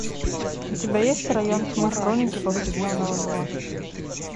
у тебя есть район тьмы хроники повседневного зла